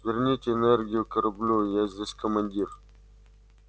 верните энергию кораблю я здесь командир